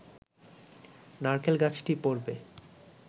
নারকেল গাছটি পড়বে